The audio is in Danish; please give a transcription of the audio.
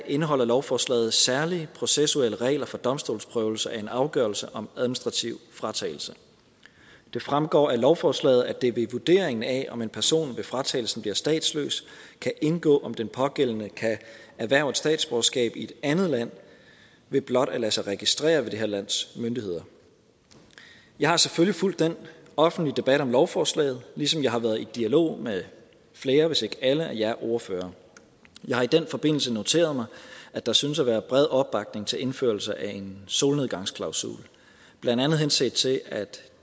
indeholder lovforslaget særlige processuelle regler for domstolsprøvelse af en afgørelse om administrativ fratagelse det fremgår af lovforslaget at det ved vurderingen af om en person ved fratagelsen bliver statsløs kan indgå om den pågældende kan erhverve et statsborgerskab i et andet land ved blot at lade sig registrere ved det her lands myndigheder jeg har selvfølgelig fulgt den offentlige debat om lovforslaget ligesom jeg har været i dialog med flere hvis ikke alle af jer ordførere jeg har i den forbindelse noteret mig at der synes at være bred opbakning til indførelse af en solnedgangsklausul blandt andet henset til at